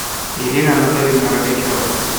ирина анатольевна рогачева